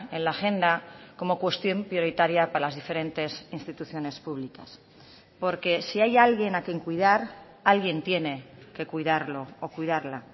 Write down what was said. en la agenda como cuestión prioritaria para las diferentes instituciones públicas porque si hay alguien a quien cuidar alguien tiene que cuidarlo o cuidarla